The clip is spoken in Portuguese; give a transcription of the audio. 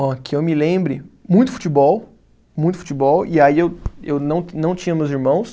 Ó, que eu me lembro, muito futebol, muito futebol, e aí eu eu não, não tinha meus irmãos,